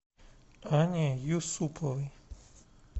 анне юсуповой